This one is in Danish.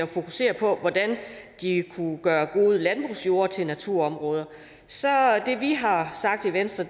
fokusere på hvordan de kunne gøre gode landbrugsjorde til naturområder så er det vi har sagt i venstre